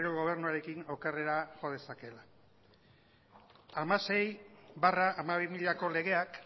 gobernuarekin jo dezakeela hamasei barra hamabi mila legeak